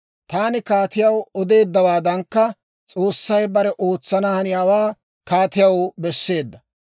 «Taani kaatiyaw odeeddawaadankka, S'oossay bare ootsana haniyaawaa kaatiyaw besseedda.